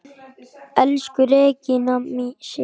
Elsku Regína Sif.